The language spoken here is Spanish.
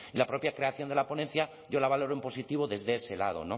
la propia creación de la ponencia yo la valoro en positivo desde ese lado